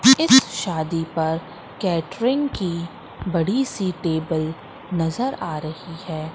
इस शादी पर कैटरिंग की बड़ी सी टेबल नजर आ रही हैं।